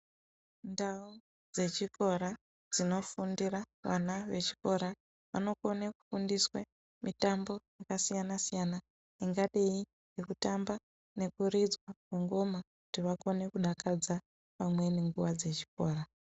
Ndau dzechikora dzinofundira vana vechikora, vanokone kufundiswe mitambo yakasiyana-siyana ingadei ngekutamba nekuridzwa kwengoma kuti vakone kudakadza vamweni nguva dzechikora.